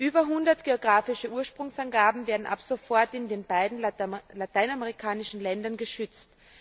Über 100 geografische Ursprungsangaben werden ab sofort in den beiden lateinamerikanischen Ländern geschützt.